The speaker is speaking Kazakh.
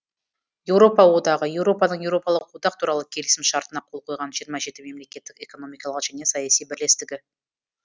еуропа одағы еуропаның еуропалық одақ туралы келісім шартына қол қойған жиырма жеті мемлекеттік экономикалық және саяси бірлестігі